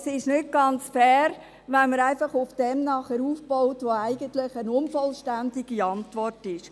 Es ist aber nicht ganz fair, wenn man einfach auf dem aufbaut, was eigentlich eine unvollständige Antwort ist.